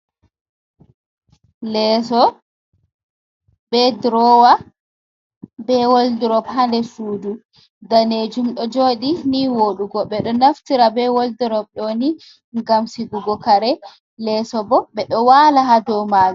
Leso be drowa be woldrop, ha nder sudu, danejum ɗo joɗi ni voɗugo. Ɓe ɗo naftira be woldrop ɗoni gam sigugo kare. Leso bo ɓe ɗo wala ha dau majum.